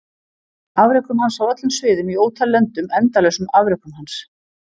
Afrekum hans á öllum sviðum í ótal löndum endalausum afrekum hans?